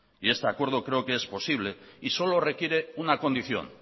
y ese acuerdo creo que es posible y solo requiere una condición